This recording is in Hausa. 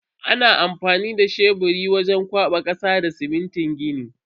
Ana amfani da sheburi wajen kwaba kasa da simintin gini.